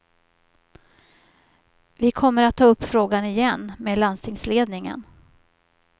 Vi kommer att ta upp frågan igen med landstingsledningen.